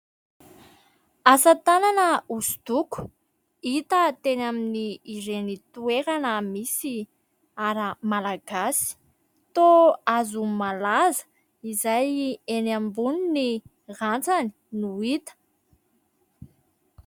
Asa tanana hoso-doko, hita teny amin'ireny toerana misy "art" malagasy. Toa hazo malaza izay eny ambony ny rantsany no hita.